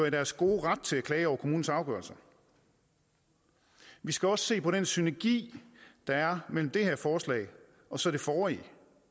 i deres gode ret til at klage over kommunens afgørelser vi skal også se på den synergi der er mellem det her forslag og så det forrige